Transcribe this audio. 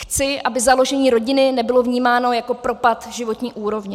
Chci, aby založení rodiny nebylo vnímáno jako propad životní úrovně.